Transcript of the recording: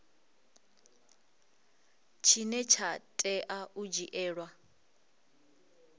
tshine tsha tea u dzhielwa